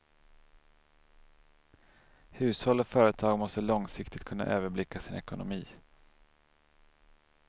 Hushåll och företag måste långsiktigt kunna överblicka sin ekonomi.